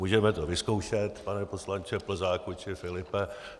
Můžeme to vyzkoušet, pane poslanče Plzáku či Filipe.